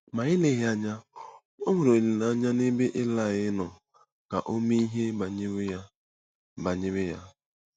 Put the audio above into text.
Ma eleghị anya, o nwere olileanya n’ebe Ilaị nọ ka o mee ihe banyere ya. banyere ya.